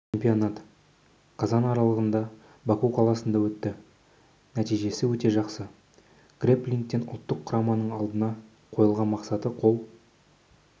чемпионат қазан аралығында баку қаласында өтті нәтижесі өте жақсы грэпплингтен ұлттық құраманың алдына қойылған мақсатқа қол